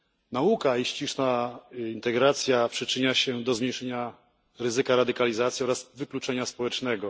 Nauka i ściślejsza integracja przyczynia się do zmniejszenia ryzyka radykalizacji oraz wykluczenia społecznego.